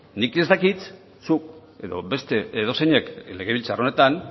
nik ez dakit zuk edo beste edozeinek legebiltzar honetan